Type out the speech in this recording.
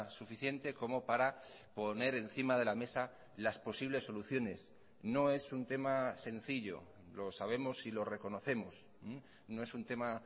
suficiente como para poner encima de la mesa las posibles soluciones no es un tema sencillo lo sabemos y lo reconocemos no es un tema